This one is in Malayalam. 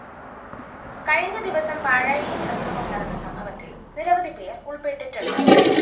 കഴിഞ്ഞ ദിവസം പാഴായിയില്‍ അക്രമം നടന്ന സംഭവത്തില്‍ നിരവധിപേര്‍ ഉള്‍പ്പെട്ടുണ്ട്